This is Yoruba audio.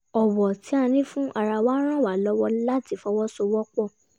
ọ̀wọ̀ tí a ní fún ara wa ràn wá lọwọ láti fọwọ́sowọpọ̀